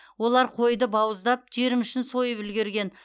олар қойды бауыздап жиырма үшін сойып үлгерген